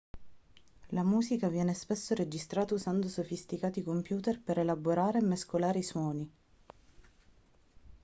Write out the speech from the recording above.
la musica viene spesso registrata usando sofisticati computer per elaborare e mescolare i suoni